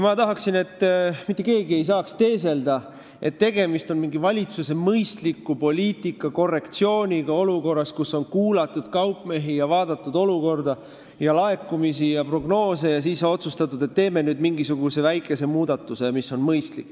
Ma tahaksin, et mitte keegi ei saaks teeselda, nagu oleks tegemist valitsuse poliitika mõistliku korrektsiooniga olukorras, kus on kuulatud kaupmehi, vaadatud olukorda, laekumisi ja prognoose ning siis otsustatud, et teeme nüüd mingisuguse väikese muudatuse, mis on mõistlik.